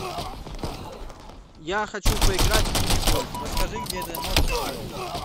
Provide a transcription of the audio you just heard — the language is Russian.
я хочу поиграть в мини гольф расскажи где это можно сделать